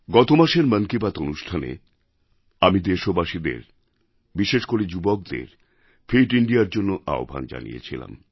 গতমাসের মন কি বাত অনুষ্ঠানে আমি দেশবাসীদের বিশেষ করে যুবকদের ফিট ইন্দিয়ার জন্য আহ্বান জানিয়েছিলাম